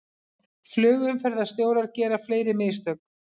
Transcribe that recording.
Flugumferðarstjórar gera fleiri mistök